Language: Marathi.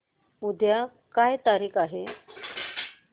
उद्या काय तारीख आहे